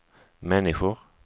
människor